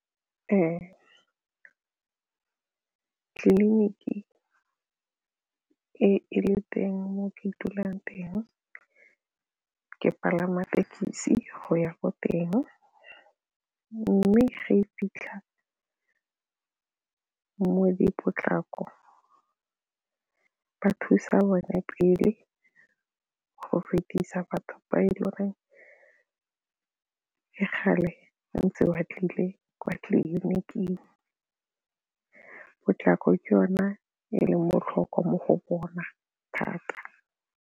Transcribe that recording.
Ee, tlilinikiee e le teng mo ke dulang teng, ke palama thekisi go ya ko teng mme ga e fitlha mo di potlako ba thusa bone pele go fetisa batho ba e le goreng ke kgale ntse wa tlile kwa tleliniking, potlako ke yone e leng botlhokwa mo go bona thata.